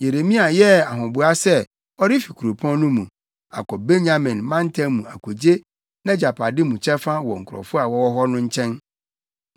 Yeremia yɛɛ ahoboa sɛ ɔrefi kuropɔn no mu, akɔ Benyamin mantam mu akogye nʼagyapade mu kyɛfa wɔ nkurɔfo a wɔwɔ hɔ no nkyɛn.